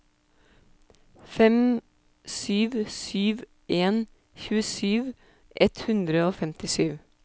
fem sju sju en tjuesju ett hundre og femtisju